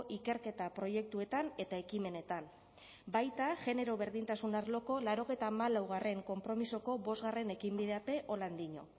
ikerketa proiektuetan eta ekimenetan baita genero berdintasun arloko laurogeita hamalaugarrena konpromisoko bosgarren ekinbidean be diño